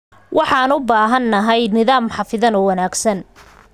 Waxaan u baahanahay nidaam xafidan oo wanaagsan.